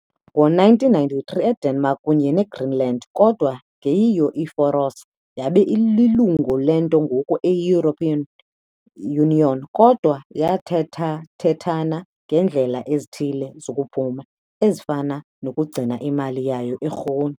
Ngo-1973, iDenmark, kunye neGreenland kodwa ingeyiyo iFaroes, yaba lilungu lento ngoku eyi- European Union, kodwa yathethathethana ngeendlela ezithile zokuphuma, ezifana nokugcina imali yayo, ikrone .